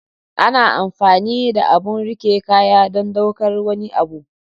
ana amfani da abun rike kaya don ɗaukar wani abu.